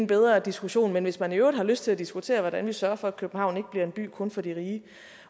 bedre diskussion men hvis man i øvrigt har lyst til at diskutere hvordan vi sørger for at københavn ikke bliver en by kun for de rige